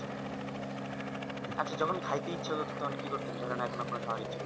আচ্ছা যখন কাইতে ইচ্ছা হবে তখন কি করছেন ধরেন এখন আপনার খাবে ইচ্ছা হয়েছে